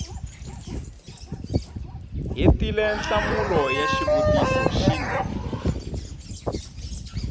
hetile nhlamulo ya xivutiso xin